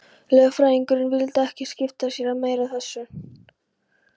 Lögfræðingurinn vildi ekki skipta sér meira af þessu.